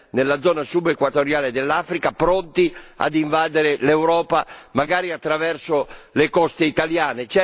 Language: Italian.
nella zona subequatoriale dell'Africa pronti a invadere l'Europa, magari attraverso le coste italiane.